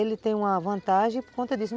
Ele tem uma vantagem por conta disso.